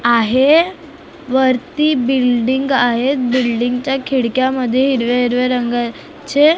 आहे वरती बिल्डिंग आहेत बिल्डिंग च्या खिडक्यामध्ये हिरव्या हिरव्या रंगाचे --